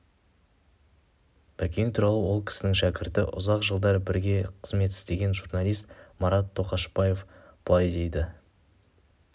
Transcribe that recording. бәкең туралы ол кісінің шәкірті ұзақ жылдар бірге қызмет істеген журналист марат тоқашбаев былай дейді